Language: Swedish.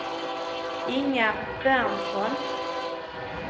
Inga Berntsson